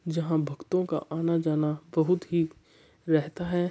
जहां भक्तों का आना-जाना बहुत ही रहता है।